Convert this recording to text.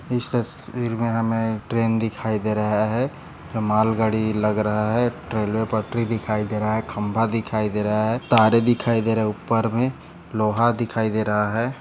इस तस्वीर मे हमे ट्रेन दिखाई दे रहा है यह मालगाड़ी लग रहा है रेल्वे पटरी दिखाई दे रहा है खंबा दिखाई दे रहा है तारे दिखाई दे रहा है उपर मे लोहा दिखाई दे रहा है।